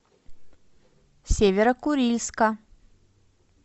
северо курильска